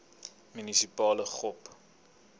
munisipale gop